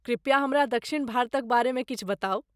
कृप्या हमरा दक्षिण भारतक बारेमे किछु बताउ।